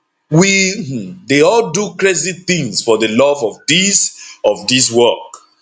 we um dey all do crazy tins for di love of dis of dis work